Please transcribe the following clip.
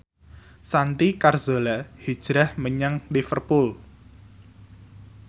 Santi Carzola hijrah menyang Liverpool